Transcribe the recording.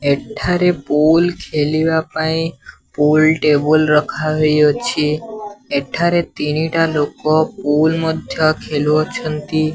ଏଠାରେ ପୁଲ୍ ଖେଲିବାପାଇ pool table ରଖାହେଇଅଛି ଏଠାରେ ତିନିଟା ଲୋକ ପୁଲ୍ ମଧ୍ୟ ଖେଲୁଅଛନ୍ତି।